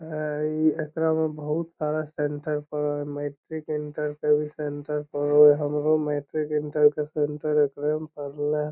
आ इ एकरा में बहुत सारा सेंटर पड हई मैट्रिक इंटर के भी सेंटर पड़ो हई हमरो मैट्रिक इंटर के सेंटर एकरे में पडले हैI